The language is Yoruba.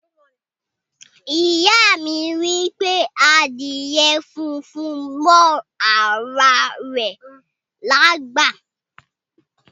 Iya mi wipe adíè fúnfún mọ ara rè lágbá.